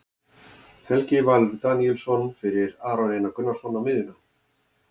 Helgi Valur Daníelsson fyrir Aron Einar Gunnarsson á miðjuna.